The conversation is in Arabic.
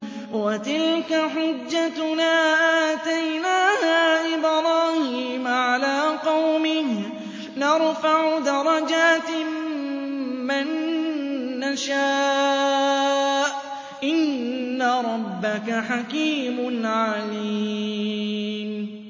وَتِلْكَ حُجَّتُنَا آتَيْنَاهَا إِبْرَاهِيمَ عَلَىٰ قَوْمِهِ ۚ نَرْفَعُ دَرَجَاتٍ مَّن نَّشَاءُ ۗ إِنَّ رَبَّكَ حَكِيمٌ عَلِيمٌ